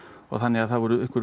þannig að það voru